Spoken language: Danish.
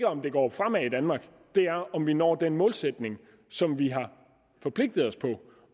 om det går fremad i danmark det er om vi når den målsætning som vi har forpligtet os til